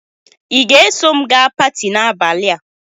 ị ga-eso m gaa paati n'abalị a?